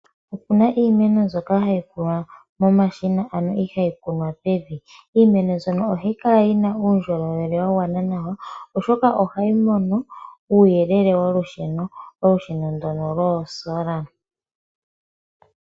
Opuna iimenk mbyoka hayi tulwa momashina ano ihayi kunwa pevi. Iimeno mbyono ohayi kala yina uundjolowele wa gwana nawa, oshoka ohayi mono uuyelele wolusheno, olusheno ndono lwoo sola.